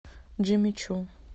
джимми чу